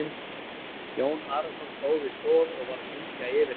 Jón Arason stóð við stoð og var að syngja yfir henni.